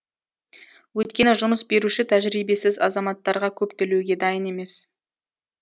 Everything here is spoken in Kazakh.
өйткені жұмыс беруші тәжірибесіз азаматтарға көп төлеуге дайын емес